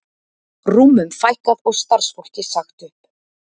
Rúmum fækkað og starfsfólki sagt upp